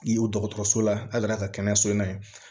N'i y'o dɔgɔtɔrɔso la a ka kɛnɛyaso la yen